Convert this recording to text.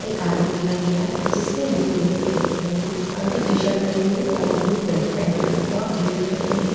एक आदमी दिखाई दे रहा है जिसने ब्लू कलर की जैकेट पहनी है अंदर टी-शर्ट पहनी है और ब्लू पेंट पहना है और जूते पहने है।